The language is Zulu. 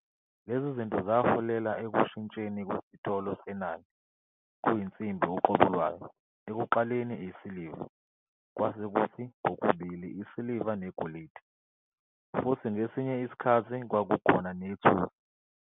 Lezi zinto zaholela ekushintsheni kwesitolo senani kuyinsimbi uqobo lwayo- ekuqaleni isiliva, kwase kuthi kokubili isiliva negolide, futhi ngesinye isikhathi kwakukhona nethusi.